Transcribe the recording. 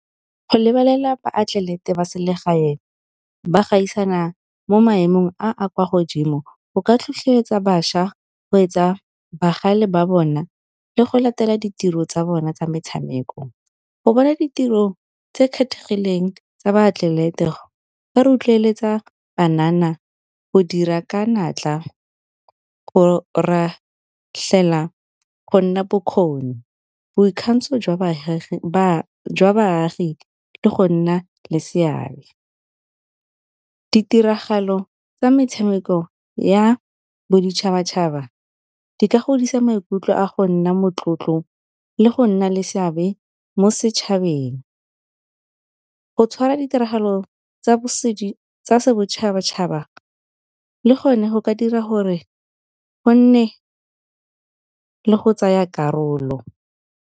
Go lebelela baatlelete ba selegae ba gaisana mo maemong a a kwa godimo go ka tlhotlheletsa bašwa go etsa bagale ba bona, le go latela ditiro tsa bona tsa metshameko. Go bona ditiro tse kgethegileng tsa baatlelete ba rotloeletsa banana go dira ka natla go go nna bokgoni. Boikgantsho jwa baagi le go nna le seabe, ditiragalo tsa metshameko ya boditšhabatšhaba di ka godisa maikutlo a go nna motlotlo le go nna le seabe mo setšhabeng, go tshwara ditiragalo tsa bosetšhabatšhaba le gone go ka dira gore go nne le go tsaya karolo.